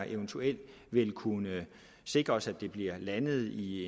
eventuelt vil kunne sikres at det her bliver landet i